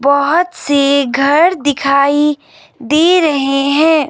बहुत से घर दिखाई दे रहे हैं।